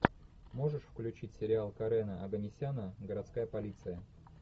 можешь включить сериал карена оганесяна городская полиция